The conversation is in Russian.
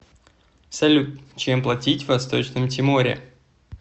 салют чем платить в восточном тиморе